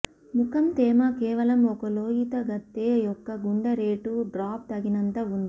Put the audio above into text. ముఖం తేమ కేవలం ఒక లోయీతగత్తె యొక్క గుండె రేటు డ్రాప్ తగినంత ఉంది